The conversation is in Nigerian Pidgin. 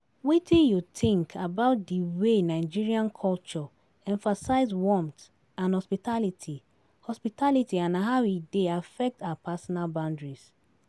wetin you think about di way Nigerian culture emphasize warmth and hospitality hospitality and how e dey affect our personal boundaries?